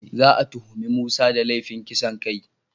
Za a tuhumi Musa da laifin kisan kai.